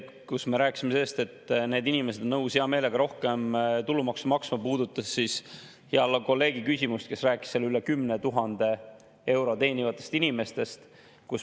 Kui me rääkisime sellest, et inimesed on nõus hea meelega rohkem tulumaksu maksma, siis see puudutas hea kolleegi küsimust, kes rääkis üle 10 000 euro teenivatest inimestest.